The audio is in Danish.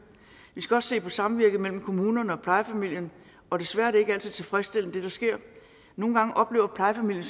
vi skal også se på samvirket mellem kommunen og plejefamilien og desværre er ikke altid tilfredsstillende nogle gange oplever plejefamilien